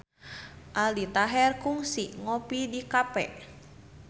Aldi Taher kungsi ngopi di cafe